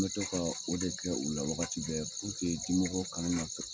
An mɛ to ka o de kɛ u la wagati bɛɛ, dimɔgɔ kana na